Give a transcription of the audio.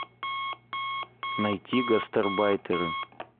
найти гастарбайтеры